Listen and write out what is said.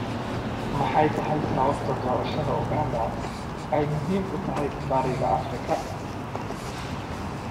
Maxay tahay sababta doorashada Uganda ay muhiim u tahay Bariga Afrika?